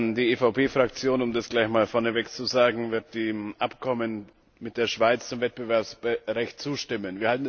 Die EVP Fraktion um das gleich einmal vorneweg zu sagen wird dem Abkommen mit der Schweiz zum Wettbewerbsrecht zustimmen.